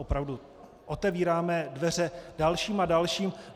Opravdu, otevíráme dveře dalším a dalším.